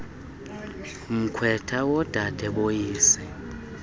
mkhwetha wodade boyise